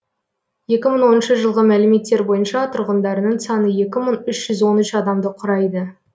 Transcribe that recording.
екі мың оныншы жылғы мәліметтер бойынша тұрғындарының саны екі мың үш жүз он үш адамды құрайды